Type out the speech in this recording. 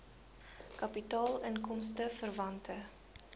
kapitaal inkomste verwante